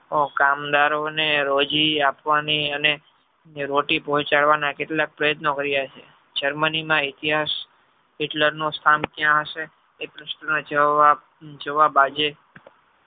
ઓ કામદારો ને રોજી આપવાની અને રોટી પહોચાદવાના કેટલા ક પ્રયત્નો કરિયા છે. germany માં ઇતિહાસ Hitler નું સ્થાન ક્યાં છે તે નો જવાબ આજે